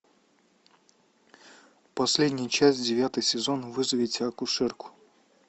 последняя часть девятый сезон вызовите акушерку